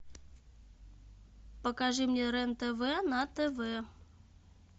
покажи мне рен тв на тв